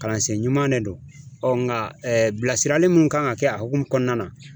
Kalansen ɲumanw ne don ɔ nga bilasirali mun kan ga kɛ a hokumu kɔnɔna na